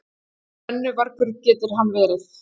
Brennuvargur getur hann verið!